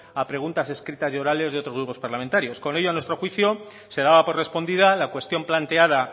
a preguntas escritas y orales de otros grupos parlamentarios con ello a nuestro juicio se daba por respondida la cuestión planteada